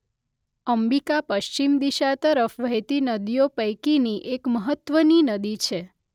અંબિકા પશ્ચિમ દિશા તરફ વહેતી નદીઓ પૈકીની એક મહત્‍વની નદી છે.